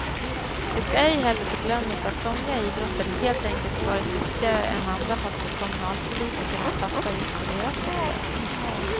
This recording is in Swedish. Det ska ej heller förglömmas att somliga idrotter helt enkelt varit duktigare än andra på att få kommunalpolitikerna att satsa just på deras sporter.